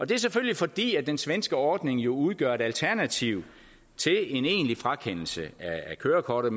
det er selvfølgelig fordi den svenske ordning jo udgør et alternativ til en egentlig frakendelse af kørekortet